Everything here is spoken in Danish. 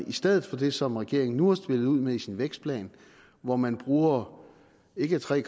i stedet for det som regeringen nu har spillet ud med i sin vækstplan hvor man bruger ikke tre